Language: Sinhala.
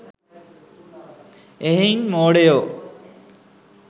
එහෙයින් මෝඩයෝ